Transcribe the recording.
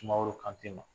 Sumaworo kante ma